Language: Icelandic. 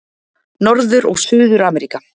Norður- og Suður-Ameríka